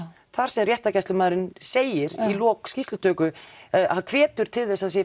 þar sem réttargæslumaðurinn segir í lok skýrslutöku eða hvetur til þess að